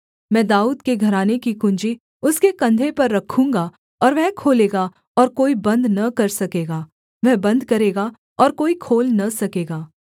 मैं दाऊद के घराने की कुँजी उसके कंधे पर रखूँगा और वह खोलेगा और कोई बन्द न कर सकेगा वह बन्द करेगा और कोई खोल न सकेगा